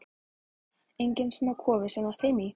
Enginn smá kofi sem þú átti heima í!